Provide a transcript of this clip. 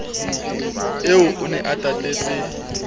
eo o ne a tatetse